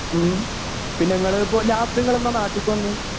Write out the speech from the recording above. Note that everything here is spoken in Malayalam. ഉം പിന്നങ്ങളിപ്പൊ ലാസ്റ്റിങ്ങളെന്നാ നാട്ടിക്ക് വന്നു.